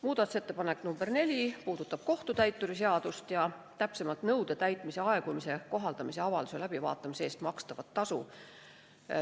Muudatusettepanek nr 4 puudutab kohtutäituri seadust, täpsemalt nõude täitmise aegumise kohaldamise avalduse läbivaatamise eest makstavat tasu.